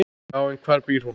Já, en hvar býr hún?